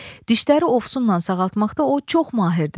Dişləri ovsunla sağaltmaqda o çox mahirdir.